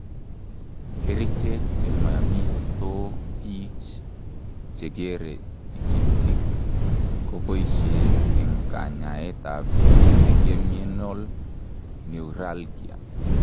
Kerichek che moimistoo bich che kere tikitik ko boishe eng' kanyaetab Trigeminal neuralgia.